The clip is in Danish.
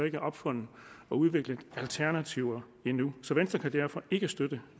ikke er opfundet og udviklet alternativer endnu så venstre kan derfor ikke støtte